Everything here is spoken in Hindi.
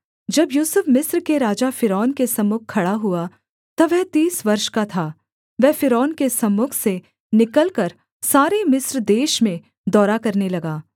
जब यूसुफ मिस्र के राजा फ़िरौन के सम्मुख खड़ा हुआ तब वह तीस वर्ष का था वह फ़िरौन के सम्मुख से निकलकर सारे मिस्र देश में दौरा करने लगा